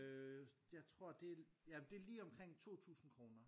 Øh jeg tror det ja det lige omkring 2 tusinde kroner